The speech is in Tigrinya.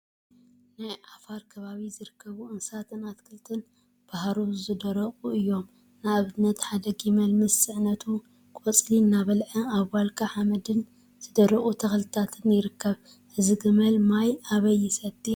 ናይ ዓፋር ከባቢ ዝርከቡ እንስሳትን አትክልቲን ብሃሩር ዝደረቁ እዮም፡፡ ንአብነት ሓደ ጊመል ምስ ፅዕነቱ ቆፅሊ እናበልዐ አብ ዋልካ ሓመድን ዝደረቁ ተክልታትን ይርከብ፡፡ እዚ ግመል ማይ አበይ ይሰቲ?